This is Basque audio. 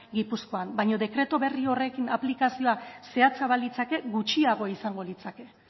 gipuzkoan baina dekretu berri horren aplikazioa zehatza balitzake gutxiago izango litzake